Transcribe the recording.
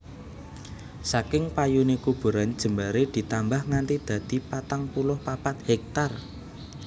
Saking payune kuburan jembaré ditambah nganti dadi patang puluh papat héktar